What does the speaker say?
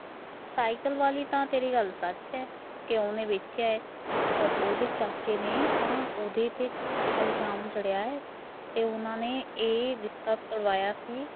cycle ਆਲੀ ਤੇਰੀ ਗੱਲ ਤਾਂ ਸੱਚ ਐ ਉਹ ਓਹਨੇ ਵੇਚਿਆ ਐ ਓਹਦੇ ਚਾਚੇ ਨੇ ਤਾਂ ਓਹਦੇ ਤੇ ਝੂਠਾ ਇਲਜਾਮ ਜੜਿਆ ਏ ਓਹਨਾ ਨੇ ਏ ਰਿਸ਼ਤਾ ਤੁੜਵਾਇਆ ਸੀ